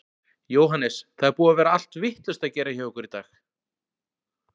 Jóhannes: Það er búið að vera allt vitlaust að gera hjá ykkur í dag?